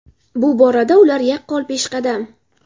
Bu borada ular yaqqol peshqadam.